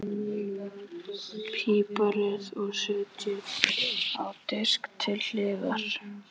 Piprið og setjið á disk til hliðar.